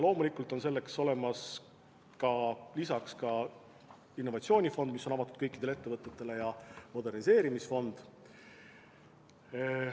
Loomulikult on selleks olemas ka innovatsioonifond, mis on avatud kõikidele ettevõtetele, ja moderniseerimisfond.